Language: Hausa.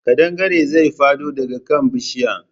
Ƙadangaren zai faɗo dagabkan bishiya